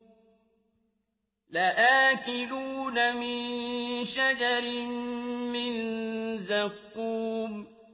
لَآكِلُونَ مِن شَجَرٍ مِّن زَقُّومٍ